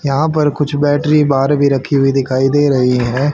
यहां पर कुछ बैटरी बाहर भी रखी हुई दिखाई दे रही है।